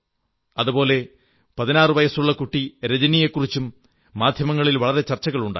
അതുപോലെ 16 വയസ്സുള്ള കുട്ടി രജനിയെക്കുറിച്ചും മാധ്യമങ്ങളിൽ വളരെ ചർച്ചകളുണ്ടായി